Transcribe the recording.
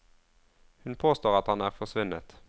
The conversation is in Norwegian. Hun påstår at han er forsvunnet.